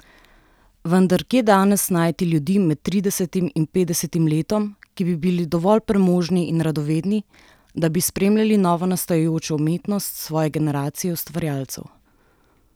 Vendar kje danes najti ljudi med tridesetim in petdesetim letom, ki bi bili dovolj premožni in radovedni, da bi spremljali novonastajajočo umetnost svoje generacije ustvarjalcev?